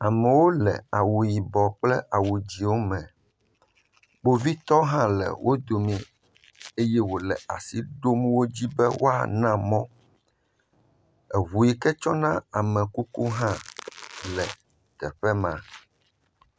Amewo le awu dzɛwo me. Kpovitɔwo tɔ hã le wò dome eye wole asi ɖom wodzi be wòa na mɔ. Eʋu yike tsɔ na ame kuku hã le afima.